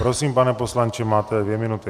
Prosím, pane poslanče, máte dvě minuty.